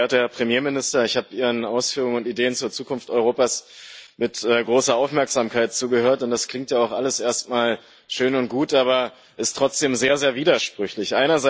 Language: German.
Geehrter Herr Premierminister, ich habe Ihren Ausführungen und Ideen zur Zukunft Europas mit großer Aufmerksamkeit zugehört, und es klingt ja auch alles erstmal schön und gut, aber es ist trotzdem sehr sehr widersprüchlich.